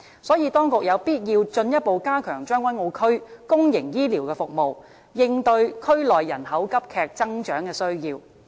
所以，當局有必要進一步加強將軍澳區公營醫療的服務，應對區內人口急劇增長的需要。